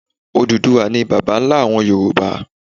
Odùduwà ni bàbá nlá àwon Yorùbá